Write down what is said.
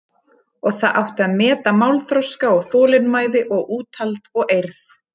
Og það átti að meta málþroska og þolinmæði og úthald og eirð.